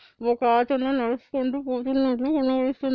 ఒక అతను నడుసుకుంటూ పోతున్నాట్లు కనిపిస్తు --